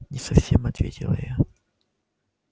не совсем ответила я